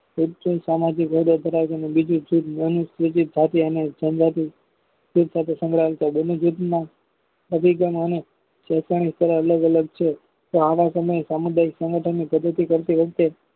સામાજિક હોદ્દો ધરાવતું અને બીજું જૂથ મોનુસમીતીત જાતિ અને જનજાતિ જૂથ બસાથે સંકળાયેલ છે બને જૂથના અભિગમ અને સાથળ અલગ અલગ છે. તો આવા સમયે સામુદાયિક સંગઠન ની પ્રગતિ કરતી વખતે